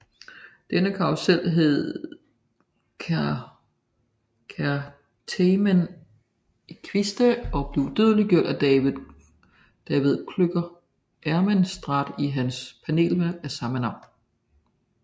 Denne karrusel hed Certamen Equestre og blev udødeliggjort af David Klöcker Ehrenstrahl i hans panelværk af samme navn